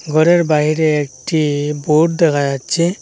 ঘরের বাহিরে একটি বোর্ড দেখা যাচ্ছে।